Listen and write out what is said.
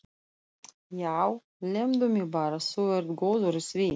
Já, lemdu mig bara, þú ert góður í því!